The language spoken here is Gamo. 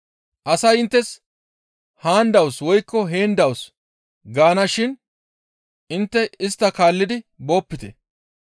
Asay inttes, ‹Haan dawus› woykko, ‹Heen dawus› gaana shin intte istta kaallidi boopite.